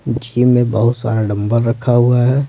Gym में बहुत सारा डंबल रखा हुआ है।